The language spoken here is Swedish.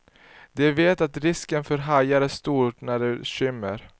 De vet att risken för hajar är stor när det skymmer.